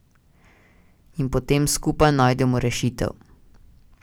In potem skupaj najdemo rešitev.